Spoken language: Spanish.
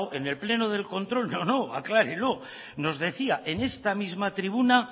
en el pleno del control no no aclárelo nos decía en esta misma tribuna